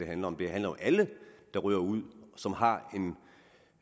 handler om det handler om alle der ryger ud og som har